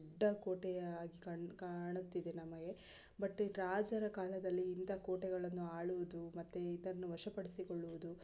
ದೊಡ್ಡ ಕೋಟೆಯಾಗಿ ಕಾಣ್ ಕಾಣುತ್ತಿದೆ ನಮಗೆ ಬಟ್ ರಾಜರ ಕಾಲದಲ್ಲಿ ಇಂತಹ ಕೊಟೆಗಳನ್ನ ಆಳುವುದು ಮತ್ತೆ ಇದನ್ನ ವಶ ಪಡಿಸಿಕೊಳ್ಳುವುದು --